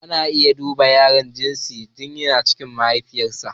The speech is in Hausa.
Ana iya duba ginsin yaro tin yana cikin mahaifiyar sa